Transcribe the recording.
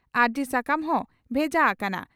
ᱟᱹᱨᱡᱤ ᱥᱟᱠᱟᱢ ᱦᱚᱸ ᱵᱷᱮᱡᱟ ᱦᱟᱠᱟᱱᱟ ᱾